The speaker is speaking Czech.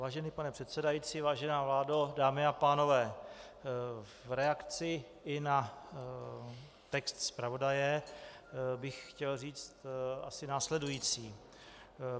Vážený pane předsedající, vážená vládo, dámy a pánové, v reakci i na text zpravodaje bych chtěl říct asi následující.